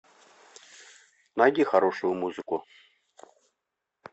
найди хорошую музыку